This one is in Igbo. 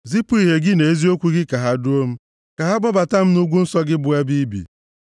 Zipụ ìhè gị na eziokwu gị, ka ha duo m; ka ha kpọbata m nʼugwu nsọ gị, bụ ebe i bi.